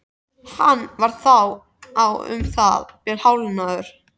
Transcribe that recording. Hann var þá um það bil hálfnaður.